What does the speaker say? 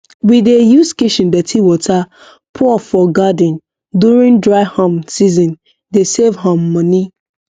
we dey use kitchen dirty water pour for garden during dry um seasone dey save um money